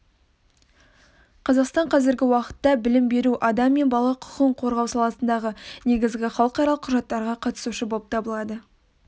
қазақстан қазіргі уақытта білім беру адам мен бала құқығын қорғау саласындағы негізгі халықаралық құжаттарға қатысушы болып табылады